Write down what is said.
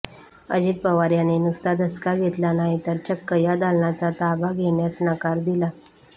अजित पवार यांनी नुसता धसका घेतला नाही तर चक्क या दालनाचा ताबा घेण्यासच नकार दिला